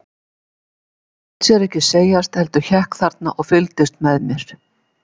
En hann lét sér ekki segjast, heldur hékk þarna og fylgdist með mér.